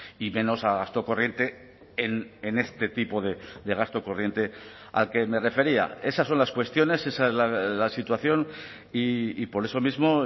y menos a gasto corriente en este tipo de gasto corriente al que me refería esas son las cuestiones esa es la situación y por eso mismo